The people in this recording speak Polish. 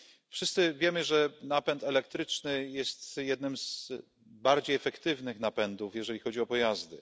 Wszyscy wiemy, że napęd elektryczny jest jednym z bardziej efektywnych napędów, jeżeli chodzi o pojazdy.